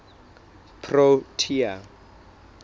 protea